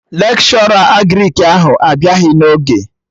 Lekshọra Agrịk ahụ abịaghị n'oge